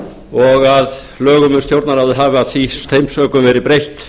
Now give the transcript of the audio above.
og að lögum um stjórnarráðið hafi af þeim sökum verið breytt